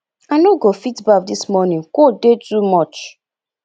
i no go fit baff dis morning cold dey too much